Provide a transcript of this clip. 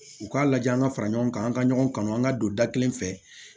U k'a lajɛ an ka fara ɲɔgɔn kan an ka ɲɔgɔn kanu an ka don da kelen fɛ